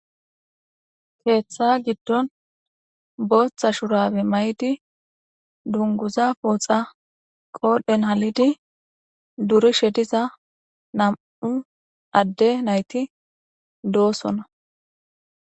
Keeththa giddon booththa shurabe mayidi dunguza pooxa qoodhen halidi durishe diza nam'u adde nayti doosonna